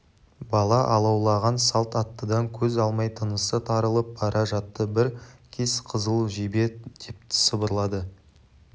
бала алаулаған салт аттыдан көз алмай тынысы тарылып бара жатты бір кез қызыл жебе деп сыбырлады